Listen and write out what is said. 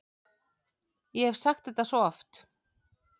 Ég hef sagt þetta svo oft.